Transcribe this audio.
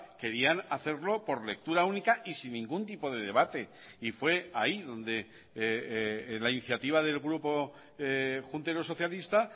querían hacerlo por lectura única y sin ningún tipo de debate y fue ahí donde la iniciativa del grupo juntero socialista